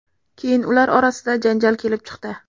Keyin ular orasida janjal kelib chiqdi.